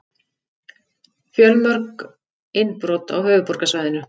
Fjölmörg innbrot á höfuðborgarsvæðinu